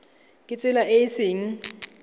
ka tsela e e seng